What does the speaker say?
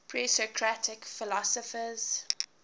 presocratic philosophers